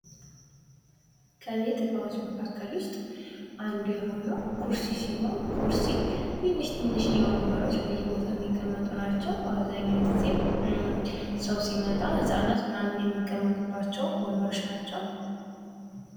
ቤት እቃዎች መካከል ውስጥ አንዱ የሆነው ኩርሲ ሲሆን ኩርሲ ትንሽዬ ወንበሮች በየቦታው ይቀመጡ ናቸው። አብዙኛውን ጊዜ ሰው ሲመጣ ህጻናት ምናምን የሚቀመጡባቸው ወንበሮች ናቸው።